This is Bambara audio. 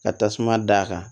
Ka tasuma da kan